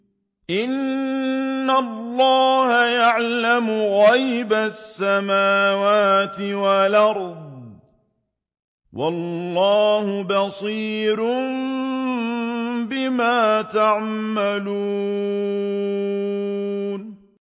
إِنَّ اللَّهَ يَعْلَمُ غَيْبَ السَّمَاوَاتِ وَالْأَرْضِ ۚ وَاللَّهُ بَصِيرٌ بِمَا تَعْمَلُونَ